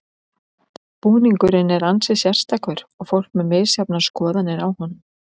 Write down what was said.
Búningurinn er ansi sérstakur og fólk með misjafnar skoðanir á honum.